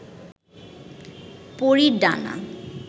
পরীর ডানা